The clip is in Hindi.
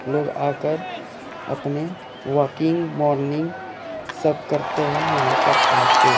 लोग आकर अपने वॉकिंग मॉर्निंग सब करते हैं यहां पर आके--